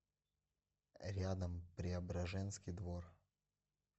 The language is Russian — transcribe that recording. рядом преображенский двор